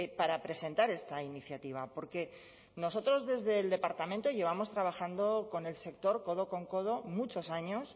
para presentar esta iniciativa porque nosotros desde el departamento llevamos trabajando con el sector codo con codo muchos años